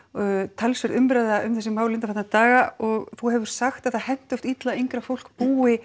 talsverð umræða um þessi mál undanfarna daga og þú hefur sagt að það henti oft illa að yngra fólk búi